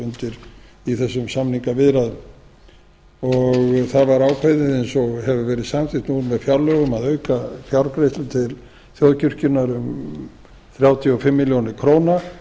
voru í þessum samningaviðræðum það var ákveðið eins og hefur verið samþykkt nú með fjárlögum að auka fjárgreiðslur til þjóðkirkjunnar um þrjátíu og fimm milljónir króna